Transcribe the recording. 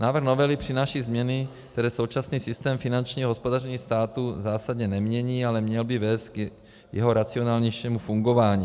Návrh novely přináší změny, které současný systém finančního hospodaření státu zásadně nemění, ale měl by vést k jeho racionálnějšímu fungování.